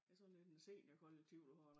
Det sådan lidt en seniorkollektiv du har dér